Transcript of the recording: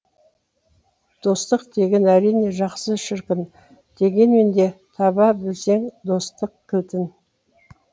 достық деген әрине жақсы шіркін дегенмен де таба білсең достық кілтін